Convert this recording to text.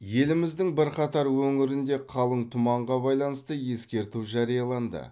еліміздің бірқатар өңірінде қалың тұманға байланысты ескерту жарияланды